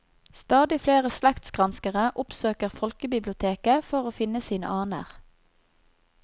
Stadig flere slektsgranskere oppsøker folkebiblioteket for å finne sine aner.